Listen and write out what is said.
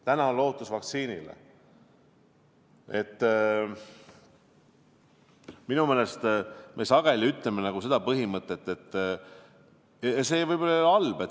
Täna on lootus vaktsiinile!